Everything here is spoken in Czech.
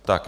Tak.